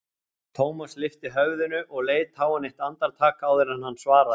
Thomas lyfti höfðinu og leit á hann eitt andartak áður en hann svaraði.